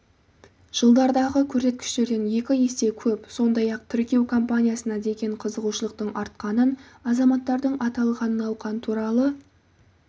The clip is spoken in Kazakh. жылдардағы көрсеткіштерден екі есе көп сондай-ақ тіркеу компаниясына деген қызығушылықтың артқанын азаматтардың аталған науқан туралы